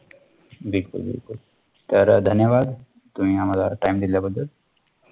बिलकुल बिलकुल तर अह धन्यवाद तुम्ही आम्हाला time दिल्या बद्दल